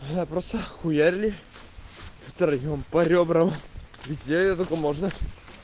я просто ахуели втроём по рёбрам где только можно